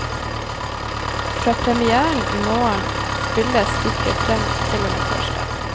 Fra premièren i morgen spilles stykket frem til og med torsdag.